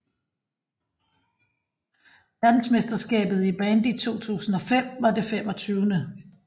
Verdensmesterskabet i bandy 2005 var det 25